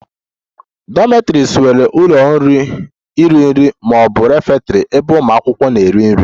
Dormitories nwere ụlọ iri nri ma ọ bụ refectory ebe ụmụ akwụkwọ na-eri nri